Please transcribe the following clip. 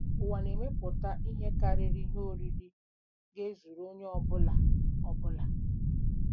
Ụwa na-emepụta ihe karịrị ihe oriri ga-ezuru onye ọ bụla. ọ bụla.